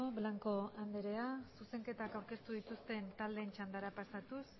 blanco anderea zuzenketak aurkeztu dituzten taldeen txandara pasatuz